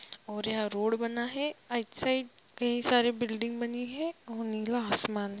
और यहां रोड बना है राइट साइड कई सारी बिल्डिंग बनी है और नीला आसमान है।